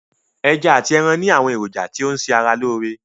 Ẹja ati ẹran ni àwọn èròjà tí n ṣe ara lóore.